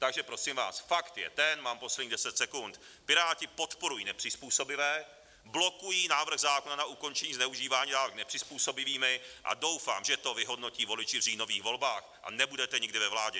Takže prosím vás, fakt je ten - mám posledních deset sekund - Piráti podporují nepřizpůsobivé, blokují návrh zákona na ukončení zneužívání dávek nepřizpůsobivými a doufám, že to vyhodnotí voliči v říjnových volbách a nebudete nikdy ve vládě.